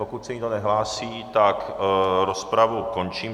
Pokud se nikdo nehlásí, tak rozpravu končím.